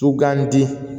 Sugandi